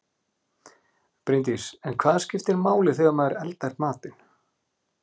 Bryndís: En hvað skiptir máli þegar maður eldar matinn?